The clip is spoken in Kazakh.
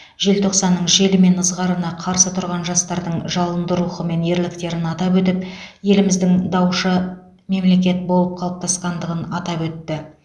желтоқсанның желі мен ызғарына қарсы тұрған жастардың жалынды рухы мен ерліктерін атап өтіп еліміздің даушы мемлекет болып қалыптасқандығын атап өтті